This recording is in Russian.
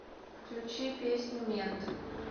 включи песню мент